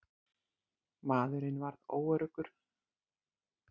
Maðurinn varð óöruggur.